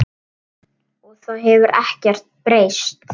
Og það hefur ekkert breyst.